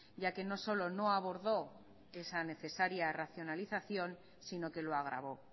ya que no solo no abordó esa necesaria racionalización sino que lo agravó